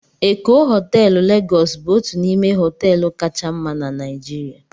Eko họteelụ Legos bụ otu n'ime họteelụ kacha mma na Naijirịa